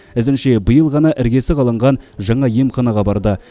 ізінше биыл ғана іргесі қаланған жаңа емханаға барды